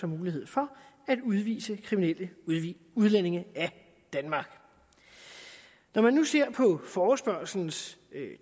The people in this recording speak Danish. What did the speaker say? mulighed for at udvise kriminelle udlændinge af danmark når man nu ser forespørgslens